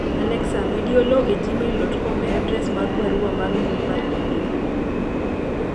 Alexa medi Oloo e gmaiil dot kom e adres mag barua mar mbui mar email